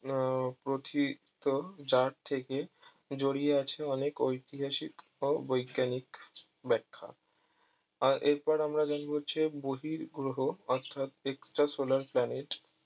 আহ প্রোথিত যার থেকে জড়িয়ে আছে অনেক ঐতিহাসিক ও বৈজ্ঞানিক ব্যাখ্যা আর এর পর আমরা জানবো হচ্ছে যে বহিঃ গ্রহ অর্থাৎ extra solar planet